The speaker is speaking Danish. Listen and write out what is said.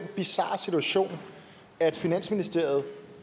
bizarre situation at finansministeriet